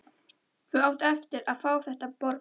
Þú átt eftir að fá þetta borgað!